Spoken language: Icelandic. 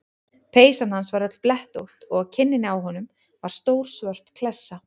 Peysan hans var öll blettótt og á kinninni á honum var stór svört klessa.